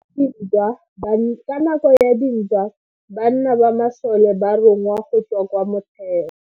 Ka nako ya dintwa banna ba masole ba rongwa go tswa kwa motheo.